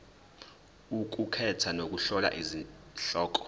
ukukhetha nokuhlola izihloko